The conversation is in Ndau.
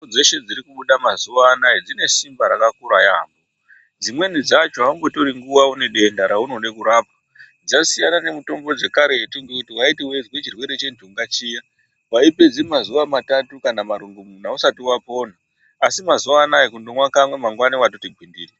Mitombo dzeshe dziri kubuda mazuwa anaa dzine simba rakakura yaamho, dzimweni dzacho aumbotori nguwa une denda raunoda kurapwa. Dzasiyana ne mitombo dzekaretu dzekuti waiti weizwa chirwere chenthunga chiya waipedza mazuwa matatu kana marongomuna usati wapora. Asi mazuwa anaa kundomwa kamwe kega, mwangwani watoti gwindiri.